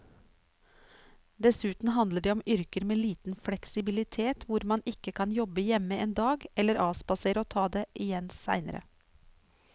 Dessuten handler det om yrker med liten fleksibilitet hvor man ikke kan jobbe hjemme en dag eller avspasere og ta det igjen senere.